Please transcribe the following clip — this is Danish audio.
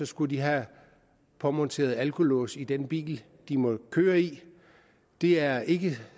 skulle have påmonteret alkolås i den bil de måtte køre i det er ikke